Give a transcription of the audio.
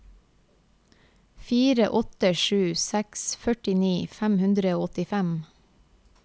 fire åtte sju seks førtini fem hundre og åttifem